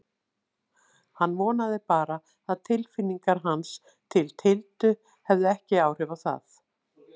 Hann vonaði bara að tilfinningar hans til Tildu hefðu ekki áhrif á það.